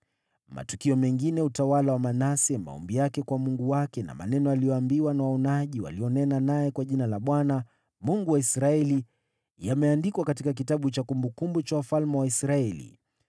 Matukio mengine ya utawala wa Manase, maombi yake kwa Mungu wake na maneno aliyoambiwa na waonaji walionena naye kwa jina la Bwana , Mungu wa Israeli, yameandikwa katika kitabu cha kumbukumbu za wafalme wa Israeli.